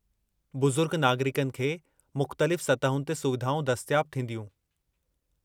बुज़ुर्ग नागरिकनि खे मुख़्तलिफ़ु सतहुनि ते सुविधाऊं दस्तियाबु थींदियूं।